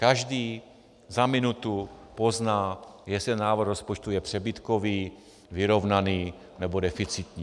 Každý za minutu pozná, jestli návrh rozpočtu je přebytkový, vyrovnaný nebo deficitní.